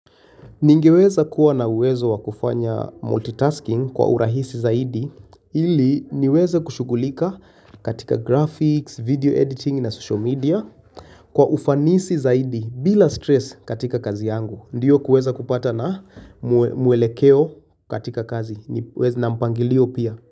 Ningeweza kuwa na uwezo wakufanya multitasking kwa urahisi zaidi ili niweza kushugulika katika graphics, video editing na social media kwa ufanisi zaidi bila stress katika kazi yangu. Ndiyo kuweza kupata na muelekeo katika kazi na mpangilio pia.